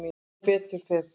Sem betur fer.